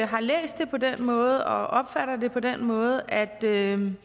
har læst det på den måde og opfatter det på den måde at der er en